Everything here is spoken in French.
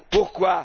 Pourquoi?